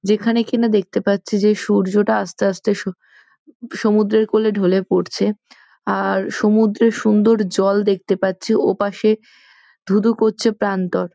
যেখানে কিনা দেখতে পাচ্ছি যে সূর্যটা আসতে আসতে স সমুদ্রের কোলে ঢোলে পড়ছে আর সমুদ্রের সুন্দর জল দেখতে পাচ্ছি ওপাশে ধু ধু করছে প্রান্তর।